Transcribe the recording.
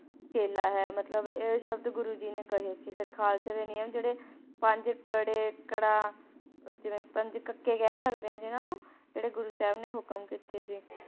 ਚੇਲਾ ਹੈ ਮਤਲਬ ਇਹ ਸ਼ਬਦ ਗੁਰੂ ਜੀ ਨੇ ਕਹੇ ਸੀ ਫਿਰ ਖਾਲਸੇ ਦੇ ਨਿਯਮ ਜਿਹੜੇ ਪੰਜ ਕੜੇ ਕੜਾ, ਜਿਵੇਂ ਪੰਜ ਕੱਕੇ ਕਹਿ ਸਕਦੇ ਹਾਂ ਜਿਹਨਾਂ ਨੂੰ, ਜਿਹੜੇ ਗੁਰੂ ਸਾਹਿਬ ਨੇ ਹੁਕਮ ਕੀਤੇ ਸੀ